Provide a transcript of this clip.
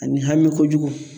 Ani hami kojugu